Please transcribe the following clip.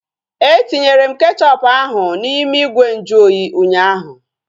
Etinyere m kechọpu ahu n'ime ìgwè nju oyi ụnyaahụ